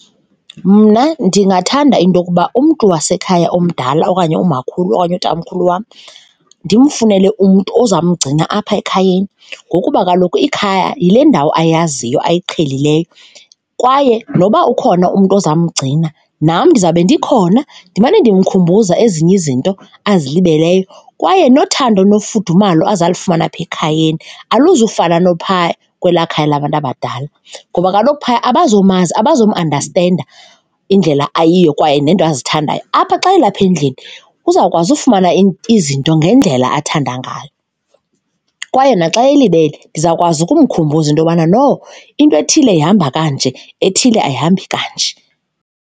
Mna ndingathanda into yokuba umntu wasekhaya omdala okanye umakhulu okanye utamkhulu wam, ndimfunele umntu ozawumgcina apha ekhayeni ngokuba kaloku ikhaya yile ndawo ayaziyo ayiqhelileyo kwaye noba ukhona umntu ozawumgcina, nam ndizawube ndikhona ndimane ndimkhumbuza ezinye izinto azilibeleyo kwaye nothando nofudumalo azawulifumana apha ekhayeni aluzukufana naphaa kwelaa khaya labantu abadala. Ngoba kaloku, phaya abazomazi, abazumandastenda indlela ayiyo kwaye neento azithandayo. Apha xa elapha endlini uzawukwazi ufumana izinto ngendlela athanda ngayo kwaye naxa elibele ndizawukwazi ukumkhumbuza into yobana no into ethile ihamba kanje, ethile ayihambi kanje.